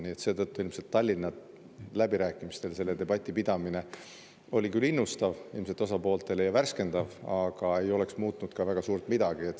Nii et seetõttu Tallinna läbirääkimistel selle debati pidamine oli küll ilmselt osapooltele innustav ja värskendav, aga ei oleks muutnud suurt midagi.